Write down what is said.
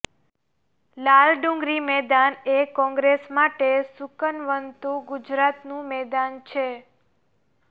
લાલ ડુંગરી મેદાન એ કોંગ્રેસ માટે શુકનવંતુ ગુજરાતનું મેદાન છે